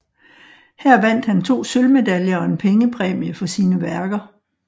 Her vandt han 2 sølvmedaljer og en pengepræmie for sine værker